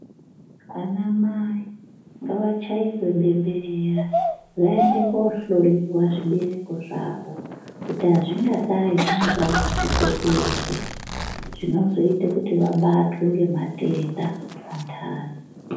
Anamai ngavachairwe bemberera vaende koohloyiwa zvibereko zvavo kuti hazvingadai zviine dambudzikopi here zvinozoita kuti vabatwe ngematenda vantani.